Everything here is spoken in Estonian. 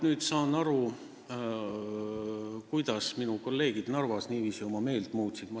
Nüüd ma saan vähemalt aru, miks minu kolleegid Narvas niiviisi oma meelt muutsid.